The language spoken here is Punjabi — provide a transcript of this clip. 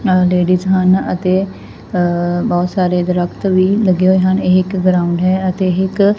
ਅ ਲੇਡੀਜ ਹਨ ਅਤੇ ਅ ਬਹੁਤ ਸਾਰੇ ਦਰਖਤ ਵੀ ਲੱਗੇ ਹੋਏ ਹਨ ਇਹ ਇੱਕ ਗਰਾਊਂਡ ਹੈ ਅਤੇ ਇੱਕ--